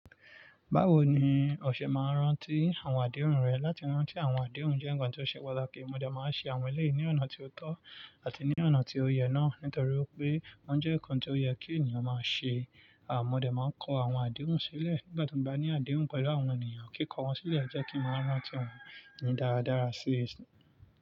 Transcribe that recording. Báwo ni o ṣe máa ń rántí àwọn àdéhùn rẹ? Látí rántí àwọn àdéhùn jẹ́ nǹkan tó ṣe pàtàkì. Mo dẹ̀ máa ń ṣe àwọn ẹlẹ́yi ní ọ̀nà tí ó tọ́ àti ní ọ̀nà tí ó yẹ náà nítorí wipé wọ́n jẹ́ nǹkan tó yẹ kí ènìyàn máa ṣe. À mọ́ dẹ̀ máa ń kó àwọn àdéhùn sílẹ̀ nígbà tí mo ba ní àdéhùn pẹ̀lú àwọn ènìyàn. Kíkọ wọ́n sílẹ̀ jẹ́ kí n máa rántí wọn ní dáradára sí.